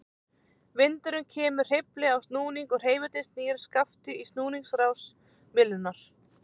Vindurinn kemur hreyfli á snúning og hreyfillinn snýr skafti í snúningsás myllunnar.